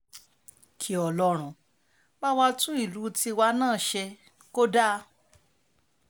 kí ọlọ́run bá wa tún ìlú tiwa náà ṣe kò dáa